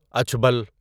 اچھبل